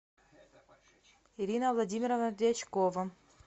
ирина владимировна дьячкова